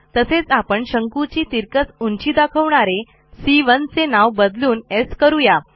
तसेच आपण शंकूची तिरकस उंची दाखवणारे c 1 चे नाव बदलून स् करू या